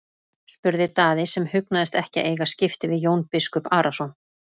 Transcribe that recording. spurði Daði sem hugnaðist ekki að eiga skipti við Jón biskup Arason.